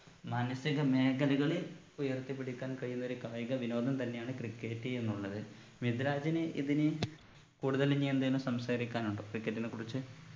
മാനസിക മേഖലകളിൽ ഉയർത്തി പിടിക്കാൻ കഴിയുന്ന ഒരു കായിക വിനോദം തന്നെയാണ് cricket എന്നുള്ളത് മിദ്‌ലാജിന് ഇതിന് കൂടുതൽ ഇനിയെന്തേലും സംസാരിക്കാനുണ്ടോ cricket നെ കുറിച്ച്